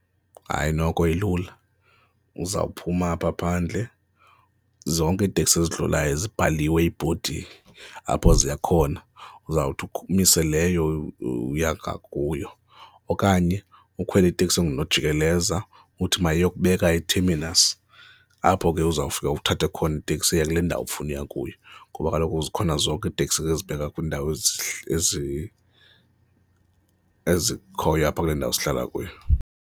Hayi, noko ilula uzawuphuma apha phandle, zonke iiteksi ezadlulayo zibhaliwe ibhodi apho ziya khona, uzawuthi umise leyo uya ngakuyo okanye ukhwele iteksi engunojikeleza uthi mayiyokubeka e-terminus apho ke uzawufika uthathe khona iteksi eya kule ndawo ofuna ukuya kuyo ngoba kaloku zikhona zonke iiteksi ezibheka kwiindawo ezikhoyo apha kule ndawo sihlala kuyo.